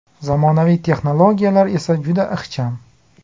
Zamonaviy texnologiyalar esa juda ixcham.